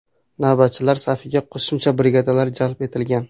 Navbatchilar safiga qo‘shimcha brigadalar jalb etilgan.